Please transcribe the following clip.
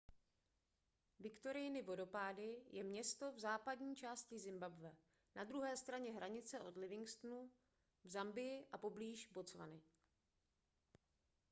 viktoriiny vodopády je město v západní části zimbabwe na druhé straně hranice od livingstonu v zambii a poblíž botswany